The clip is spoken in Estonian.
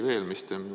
Üks asi veel.